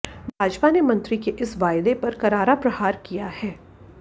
भाजपा ने मंत्री के इस वायदे पर करारा प्रहार किया है